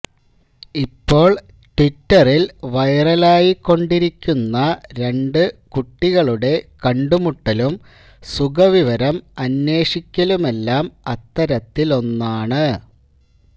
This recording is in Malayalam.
ഇപ്പോള് ട്വിറ്ററിൽ വൈറലായിക്കൊണ്ടിരിക്കുന്ന രണ്ട് കുട്ടികളുടെ കണ്ടുമുട്ടലും സുഖവിവരം അന്വേഷിക്കലുമെല്ലാം അത്തരത്തിലൊന്നാണ്